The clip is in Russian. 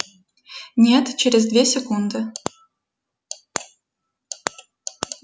нет через две секунды